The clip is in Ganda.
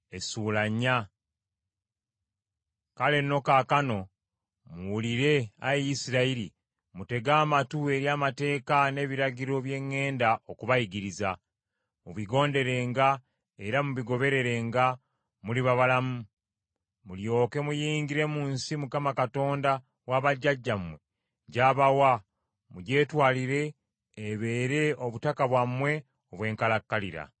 Kale nno kaakano, muwulire, Ayi Isirayiri, mutege amatu eri amateeka n’ebiragiro bye ŋŋenda okubayigiriza. Mubigonderenga era mubigobererenga, muliba balamu, mulyoke muyingire mu nsi Mukama Katonda wa bajjajjammwe gy’abawa mugyetwalire ebeere obutaka bwammwe obw’enkalakkalira.